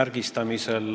märgistamisel.